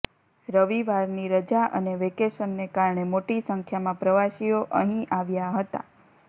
રવિવારની રજા અને વેકેશનને કારણે મોટી સંખ્યામાં પ્રવાસીઓ અહીં આવ્યાં હતા